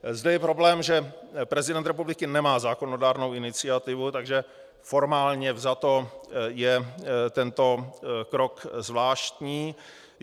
Zde je problém, že prezident republiky nemá zákonodárnou iniciativu, takže formálně vzato je tento krok zvláštní.